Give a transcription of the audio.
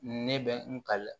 Ne bɛ n ka